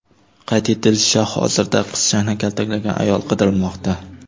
Qayd etilishicha, hozirda qizchani kaltaklagan ayol qidirilmoqda.